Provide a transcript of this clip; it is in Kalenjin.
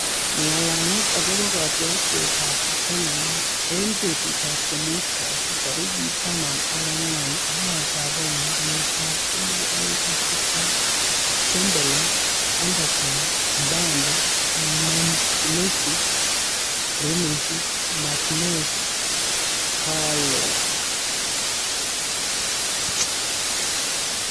Ng'alalet akobo kotiorsetab bitonin eng betutab komuut kasi tarik taman ak ang'wan, arawetab oeng', kenyitab elebu oeng ak tiptem: Dembele, Henderson, Mbappe, Messi, Grealish, Martinez, Caroll